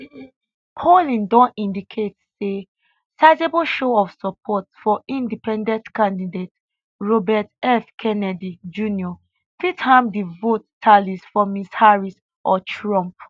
polling don indicate say sizeable show of support for independent candidate robert f kennedy jr fit harm di vote tallies for ms harris or trump